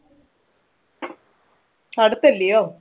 അടുത്തല്ലെയോ.